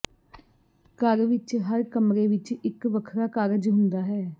ਘਰ ਵਿੱਚ ਹਰ ਕਮਰੇ ਵਿੱਚ ਇੱਕ ਵੱਖਰਾ ਕਾਰਜ ਹੁੰਦਾ ਹੈ